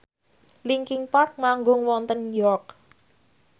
linkin park manggung wonten York